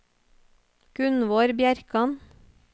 Gunvor Bjerkan